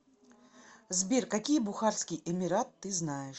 сбер какие бухарский эмират ты знаешь